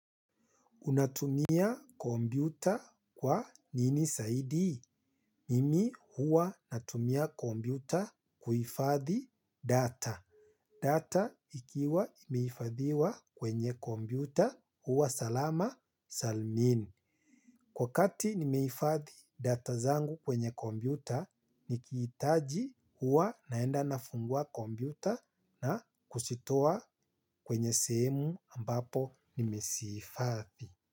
Unatumia kompyuta kwa nini zaidi? Mimi huwa natumia kompyuta kuhifadhi data. Data ikiwa imehifadhiwa kwenye kompyuta huwa salama salmin. Kwa kati nimehifadhi data zangu kwenye kompyuta, nikihitaji huwa naenda nafungua kompyuta na kuzitoa kwenye sehemu ambapo nimezihifadhi.